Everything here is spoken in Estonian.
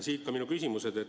Siit ka minu küsimused.